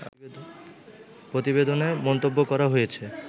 প্রতিবেদনে মন্তব্য করা হয়েছে